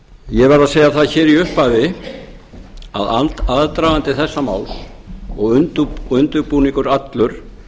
ég verð að segja það hér í upphafi að aðdragandi þessa máls og undirbúningur allur